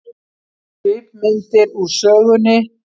Svipmyndir úr sögunni